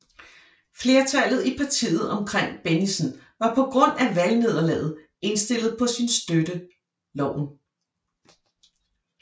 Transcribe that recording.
Flertallet i partiet omkring Bennigsen var på grund af valgnederlaget indstillet på at støtte loven